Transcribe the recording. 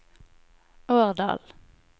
Årdal